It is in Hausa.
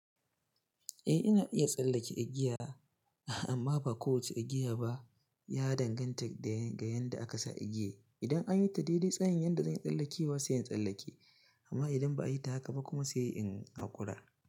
Eh, ina iya tsallake igiya amma ba kowace igiya ba ya danganta da ga yanda aka sa igiya. Idan an yi ta daidai tsayin yanda zan tsallake wa sai in tsallake amma idan ba a yi ta haka ba kuma sai in hakura.